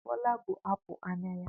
Bola bụ apụl anya ya.